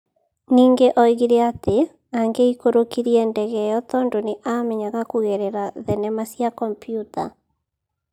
Ningĩ nĩ oigire atĩ angĩikũrũkirie ndege ĩyo tondũ nĩ aamenyaga kũgerera thenema cia kompiuta.